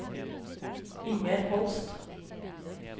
Inger Holst